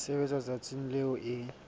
e sebetswa letsatsing leo e